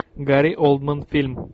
гари олдман фильм